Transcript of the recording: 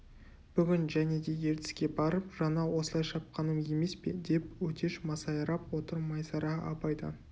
бүгін және де ертіске барып жаңа осылай шапқаным емес пе деп өтеш масайрап отыр майсара абайдан